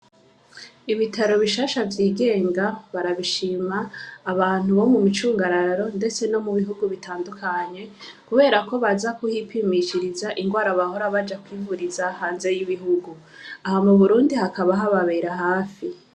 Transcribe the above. Ibitaro bishasha vy'igenga barabishima abantu bo mu micungararo, ndetse no mu bihugu bitandukanye, kubera ko baza kuhipimishiriza ingwara bahora baja kwivuriza hanze y'ibihugu aha mu burundi hakaba ha babera hafi.